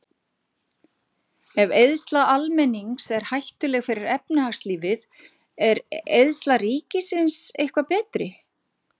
Ef eyðsla almennings er hættuleg fyrir efnahagslífið, er eyðsla ríkisins eitthvað betri?